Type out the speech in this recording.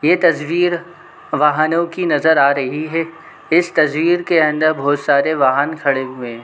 ये तस्वीर वाहनों की नज़र आ रही है इस तस्वीर के अंदर बहोत सारे वाहन खड़े हुए है ।